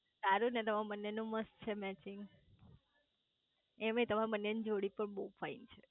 સારું ને તમાર બને નું મસ્ત છે મેચિંગ એમેય તમારા બંનેની જોડી પણ બહુ ફાઈન છે